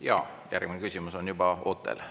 Jaa, järgmine küsimus on juba ootel.